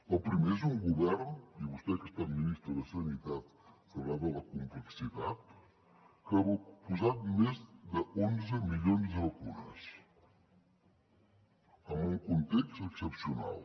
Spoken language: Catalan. el primer és un govern i vostè que ha estat ministre de sanitat en sabrà de la complexitat que ha posat més d’onze milions de vacunes en un context excepcional